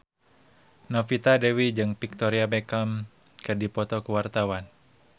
Novita Dewi jeung Victoria Beckham keur dipoto ku wartawan